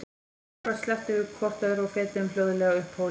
Ósjálfrátt slepptum við hvort öðru og fetuðum hljóðlega upp hólinn.